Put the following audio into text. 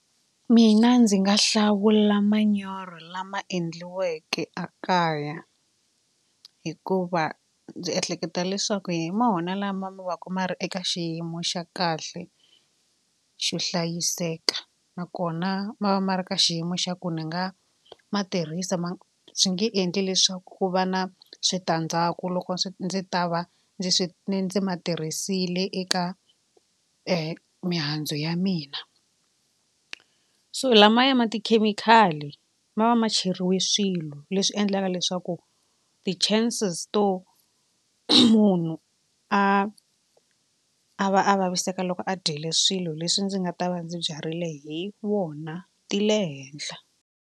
Mina ndzi nga hlawula manyoro lama endliweke ekaya hikuva ndzi ehleketa leswaku hi mona lama ma vaku eka xiyimo xa kahle xo hlayiseka nakona ma va ma ri ka xiyimo xa ku ni nga ma tirhisa ma swi nge endli leswaku ku va na switandzhaku loko swi ndzi ta va ndzi swi ndzi ma tirhisile eka mihandzu ya mina so lamaya ma tikhemikhali ma va ma cheriwe swilo leswi endlaka leswaku ti-chances to munhu a a va a vaviseka loko a dyile swilo leswi ndzi nga ta va ndzi byarile hi wona ti le henhla.